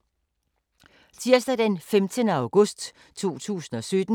Tirsdag d. 15. august 2017